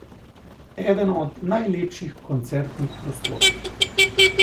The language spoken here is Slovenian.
Eden od najlepših koncertnih prostorov.